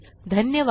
धन्यवाद